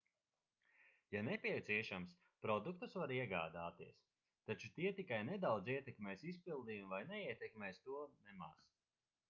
ja nepieciešams produktus var iegādāties taču tie tikai nedaudz ietekmēs izpildījumu vai neietekmēs to nemaz